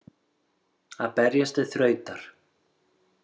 Að berjast til þrautar